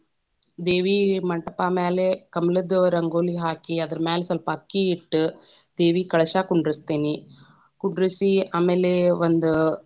ದೇವಿ ಮಂಟಪಾ ಮ್ಯಾಲೆ ಕಮಲದ್‌ ರಂಗೋಲಿ ಹಾಕಿ ಅದ್ರ ಮ್ಯಾಲ ಸ್ವಲ್ಪ ಅಕ್ಕಿ ಇಟ್ಟ, ದೇವಿ ಕಳಶಾ ಕುಂದರಸ್ತೇನಿ, ಕುಂಡರಸಿ ಆಮೇಲೆ ಒಂದ.